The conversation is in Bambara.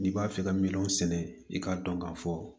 N'i b'a fɛ ka miliyɔn sɛnɛ i k'a dɔn ka fɔ